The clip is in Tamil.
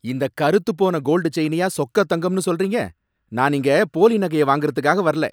இந்த கறுத்துபோன கோல்டு செயினயா சொக்கத்தங்கம்னு சொல்றீங்க? நான் இங்க போலி நகையை வாங்கிறதுக்காக வரல!